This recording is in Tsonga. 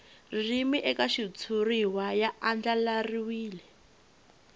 ririmi eka xitshuriwa ya andlariwile